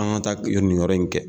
An ka taa nin yɔrɔ in kɛ